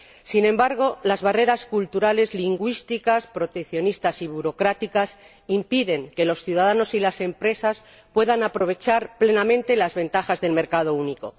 Sin embargo, las barreras culturales, lingüísticas, proteccionistas y burocráticas impiden que los ciudadanos y las empresas puedan aprovechar plenamente las ventajas del mercado único.